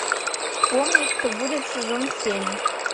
вспомни что будет сезон семь